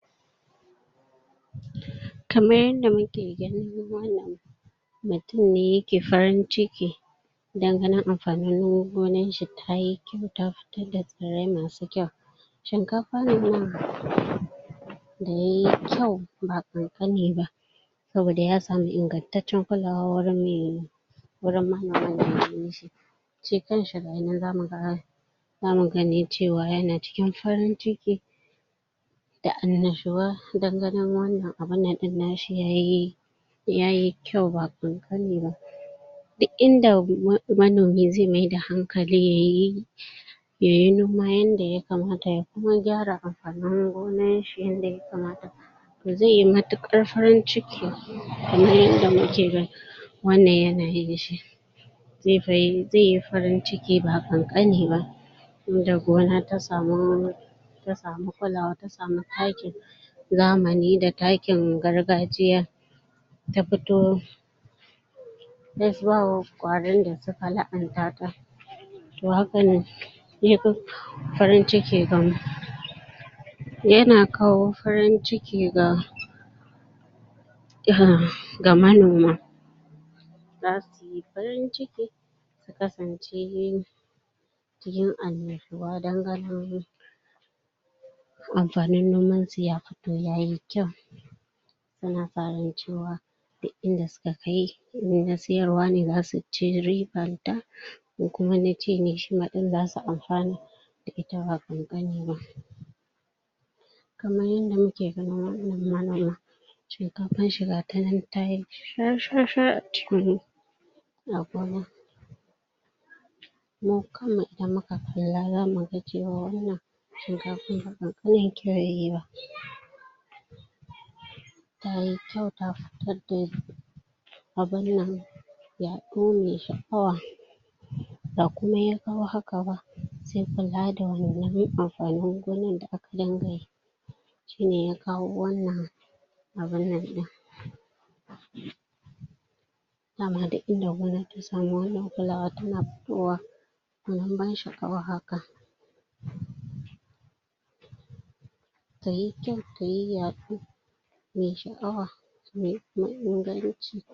Kamar yadda muke gani wannan mutum ne yake farin cikin dan gani amfanin gonar shi tayi kyau ta fitar da tsirrai masu kyau shinkafa ne nan da yayi kyau ba ƙanƙani ba saboda ya samu ingantaccen kulawa warin me gurin ɗin shi shi kanshi gayi nan zamu ga zamu ganin cewa yana cikin farin ciki da annashuwa dan ganin wannan abun nan nashi yayi yayi kyau ba ƙanƙani ba duk inda um manomi zai mai da hankali yayi yayi noma yadda yakamata ya kuma gyara amfanin gonar shi yadda yakamata zai yi matuƙar farin ciki kamar yadda muke gani wannan yana yin shi zai fa yi, zai farin ciki ba ƙanƙani ba inda gona ta samu ta samu kulawa ta sami taki takin zamani da takin gargajiya ta fito tai suwawo kwarin da suka la'anta ta to hakane ya fi farin ciki gamu yana kawo farin ciki ga um ga manoma zasu yi farin ciki su kasance cikin annashuwa dan ganin amfanin gonar su ya fito yayi kyau suna fatan cewa duk inda suka kai, in na siyarwa ne zasu ci ribar da in kuma na ci ne, shima zasu amfana da ita ba ƙanƙani ba kamar yadda muke gani wannan manomi shinkafar shi gata nan tayi shar-shar a cikin gona a gona mu kam mu idan muka kalla zamu ga cewa wannan shinkafar ba ƙanƙanin kyau yayi ba yayi kyau ta fitar da abun nan yaɗu maai sha'awa ba komai ya kawo haka ba sai kula da wannan amfanin gonar da aka dunga yi shine ya kawo wannan abun nan ɗin daman duk inda gona ta sami wannan kulawar tana fitowa gwanin ban sha'awa haka tayi kyau tayi yaɗo mai sha'awa tai inganci